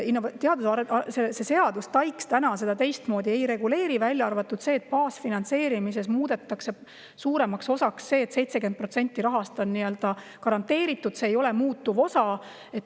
See seadus, TAIKS seda teistmoodi ei reguleeri, välja arvatud see, et baasfinantseerimise osa muudetakse suuremaks: 70% rahast on garanteeritud, see ei ole muutuv osa.